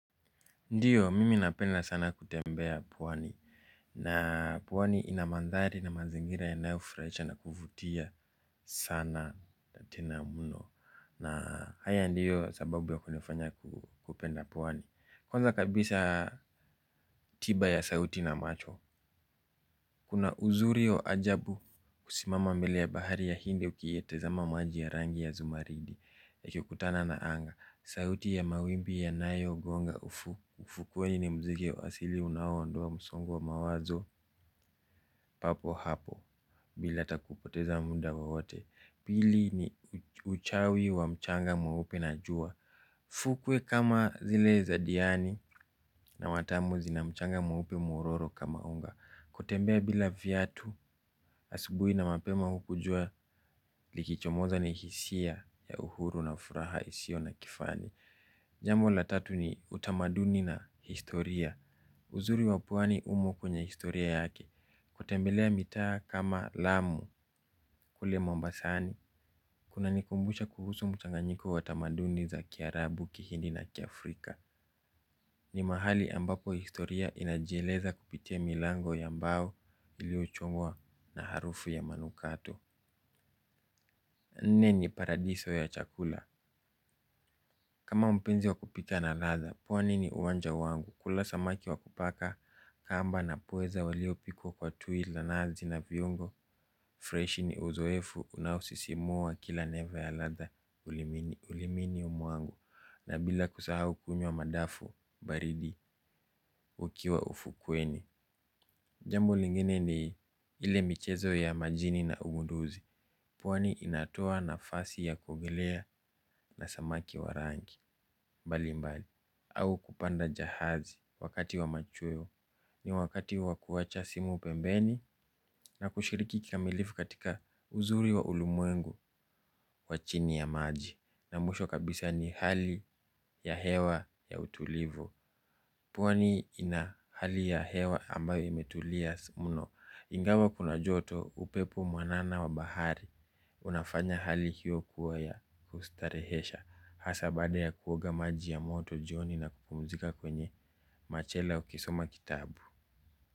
Ndiyo mimi napenda sana kutembea pwani na pwani ina manthari na mazingira yanayofurahisha na kuvutia sana na tena mno na haya ndiyo sababu ya kunifanya kupenda pwani. Kwanza kabisa tiba ya sauti na macho kuna uzuri wa ajabu kusimama mbele ya bahari ya hindi ukiyatazama maji ya rangi ya zumaridi yakikutana na anga. Sauti ya mawimbi ya nayogonga ufukweni ni muziki ya wa asili unaoondoa msongo wa mawazo. Papo hapo bila haya kupoteza muda wowote. Pili ni uchawi wa mchanga mweupe na jua. Fukwe kama zile za diani na watamu zina mchanga mweupe mwororo kama unga. Kutembea bila viatu asubuhi na mapema huko jua likichomoza ni hisia ya uhuru na furaha isio na kifani. Jambo la tatu ni utamaduni na historia. Uzuri wa pwani umo kwenye historia yake. Kutembelea mitaa kama Lamu kule Mombasani. Kunanikumbusha kuhusu mchanganyiko wa tamaduni za kiarabu kihindi na kiafrika. Ni mahali ambako historia inajieleza kupitia milango ya mbao iliochungwa na harufu ya manukato. Nne ni paradiso ya chakula. Kama mpenzi wa kupika na ladha, pwani ni uwanja wangu. Kula samaki wa kupaka kamba na pweza waliopikwa kwa tui la nazi na viungo. Fresh ni uzoefu unaosisimua kila neva ya ladha. Ulimini mwangu na bila kusahau kunyw a madafu baridi ukiwa ufukweni. Jambo lingine ni ile michezo ya majini na ugunduzi. Pwani inatoa nafasi ya kuogelea na samaki wa rangi. Mbali mbali amau kupanda jahazi wakati wa machweo. Ni wakati wa kuacha simu pembeni. Na kushiriki kikamilifu katika uzuri wa ulimwengu wa chini ya maji na mwisho kabisa ni hali ya hewa ya utulivu. Pwani ina hali ya hewa ambayo imetulia mno. Ingawa kuna joto upepo mwanana wa bahari unafanya hali hiyo kuwa ya kustarehesha hasa baada ya kuoga maji ya moto jioni na kupumzika kwenye machela ukisoma kitabu.